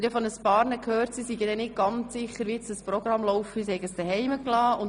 Von Einigen habe ich gehört, sie wären nicht ganz sicher, wie das Programm heute abläuft.